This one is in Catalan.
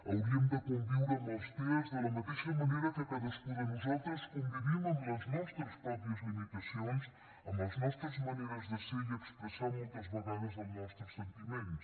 hauríem de conviure amb els tea de la mateixa manera que cadascú de nosaltres convivim amb les nostres pròpies limitacions amb les nostres maneres de ser i expressar moltes vegades els nostres sentiments